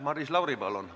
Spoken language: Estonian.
Maris Lauri, palun!